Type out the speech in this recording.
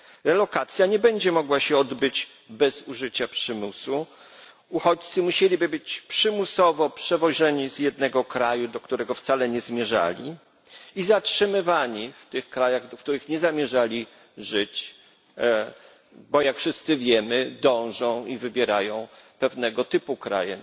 Realokacja nie będzie mogła się odbyć bez użycia przymusu, uchodźcy musieliby być przymusowo przewożeni z jednego kraju, do którego wcale nie zmierzali, i zatrzymywani w tych krajach, w których nie zamierzali żyć, bo, jak wszyscy wiemy, dążą i wybierają pewnego typu kraje.